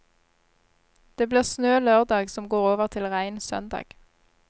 Det blir snø lørdag som går over til regn søndag.